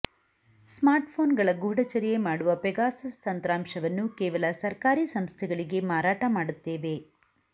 ಸ್ಮಾರ್ಟ್ಫೋನ್ಗಳ ಗೂಢಚರ್ಯೆ ಮಾಡುವ ಪೆಗಾಸಸ್ ತಂತ್ರಾಂಶವನ್ನು ಕೇವಲ ಸರ್ಕಾರಿ ಸಂಸ್ಥೆಗಳಿಗೆ ಮಾರಾಟ ಮಾಡುತ್ತೇವೆ